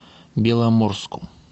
беломорску